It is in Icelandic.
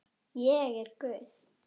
Ég er guð.